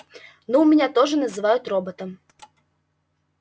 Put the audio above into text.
ну меня тоже называют роботом